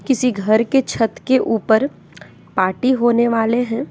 किसी घर के छठ के ऊपर पार्टी होने वाले हैं।